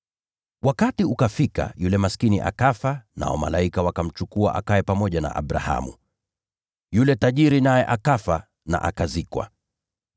“Wakati ukafika yule maskini akafa, nao malaika wakamchukua akae pamoja na Abrahamu. Yule tajiri naye akafa na akazikwa.